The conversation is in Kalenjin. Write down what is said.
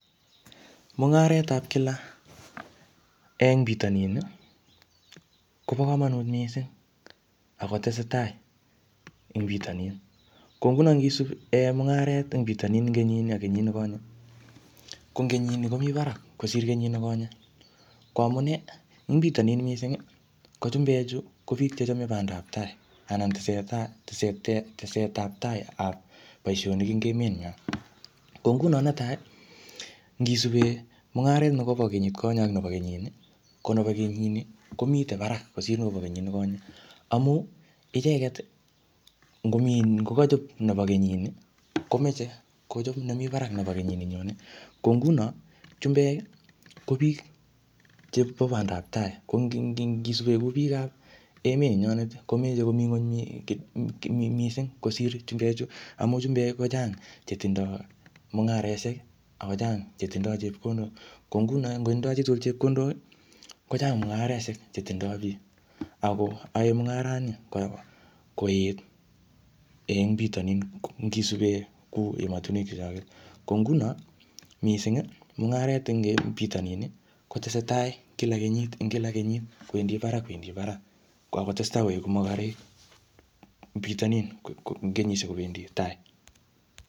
Mung'aretap kila eng bitonin, kobo komonut missing, ako tesetai eng bitonin. Ko nguno ngisup iyai mungaret eng bitonin eng kenyit ni ak kenyit nekonye, ko eng kenyit ni, komii barak kosir kenyit nekonye. Ko amunee, ing bitonin missing, ko chumbek chu, ko biik chechame bandaptai. Anan teseta-tesetetet tesetaptai ap boisonik eng met nywa. Ko nguno netai, ngisube mung'aret nekobo kenyit konye ak nebo kenyit ni, ko nebo kenyit nii, komite barak kosir nebo kenyit nekonye. Amuu icheket, ngomii ni, ngokachop nebo kenyit nii, komeche kochop nemii barak nebo kenyit nenyone. Ko nguno, chumbek ko biik chebo bandaptai. Ko ngi-ngi-ngisube kuu biik emet nenyonet, komeche komii ng'uny um missing kosir chumbek, amu chumbek kochang che tindoi mung'areshek, akochang chetindoi chepkondok. Ko nguno, ngotindoi chitugul chepkondok, kochang mung'areshek che tindoi biik. Ako ae mungarat ni koet eng bitonin ngisube kuu emotunwek chechoget. Ko nguno, missing, mng'aret eng um bito nin, kotesetai kila kenyit eng kila kenyit kwendi barak, ak kwendi barak. Ko kakotestai koeku mokorek eng bitonin um eng kenyishiek kobendi tai.